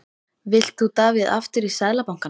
Vilt þú Davíð aftur í Seðlabankann?